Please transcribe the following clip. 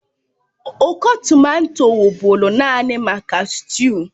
Nkọ tomato wụ́bụ́ru naanị maka sịtịụ